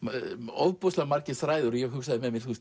ofboðslega margir þræðir ég hugsaði með mér